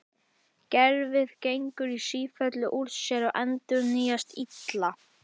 Gervið gengur í sífellu úr sér og endurnýjast illa.